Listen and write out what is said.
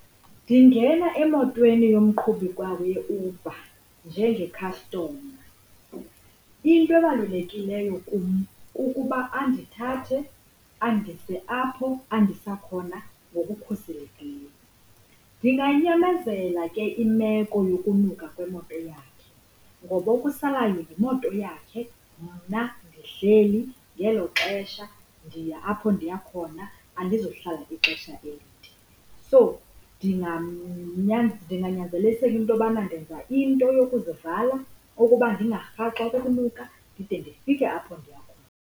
Ndingena emotweni yomqhubi yeUber njengekhastoma. Into ebalulekileyo kum kukuba andithathe andise apho andisa khona ngokukhuselekileyo. Ndinganyamezela ke imeko yokunuka kwemoto yakhe ngoba okusalayo yimoto yakhe, mna ndihleli ngelo xesha ndiya apho ndiya khona andizuhlala ixesha elide. So ndinganyanzelisela into yobana ndenza into yokuzivala ukuba ndingarhaxwa kukunuka ndide ndifike apho ndiya khona.